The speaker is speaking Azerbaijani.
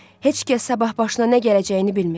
Heç kəs sabah başına nə gələcəyini bilmir.